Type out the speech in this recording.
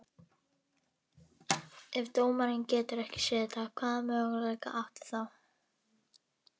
Ef dómarinn getur ekki séð þetta, hvaða möguleika áttu þá?